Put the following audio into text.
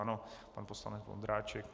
Ano, pan poslanec Vondráček.